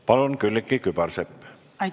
Palun, Külliki Kübarsepp!